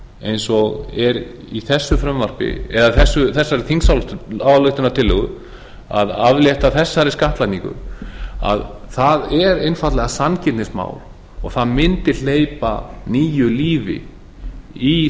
eins og er í þessari þingsályktunartillögu að aflétta þessari skattlagningu það er einfaldlega sanngirnismál og það mundi hleypa nýju lífi í